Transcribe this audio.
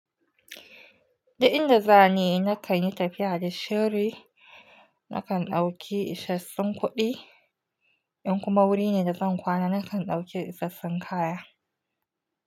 Dik inda zani na kan yi tafiya da shiri. Na kan ɗauki isassun kuɗi, in kuma wuri ne da zan kwana, na kan ɗauki isassun kaya.